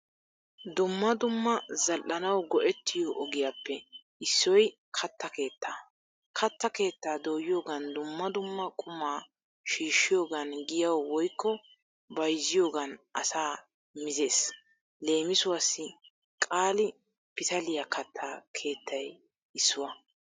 Dumma dumma zal'anawu go'ettiyo ogiyappe issoy katta keettaa. Katta keettaa dooyiyogan dumma dumma qumma shiishiyogan giyawu woykko bayzziyogan asa mizees. Leemisuwaasi Qaali pitaliyaa katta keettay issuwaa.